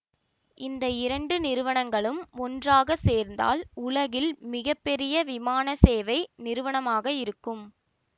இந்த இரண்டு நிறுவனங்களும் ஒன்றாக சேர்ந்தால் உலகில் மிக பெரிய விமானசேவை நிறுவனமாக இருக்கும்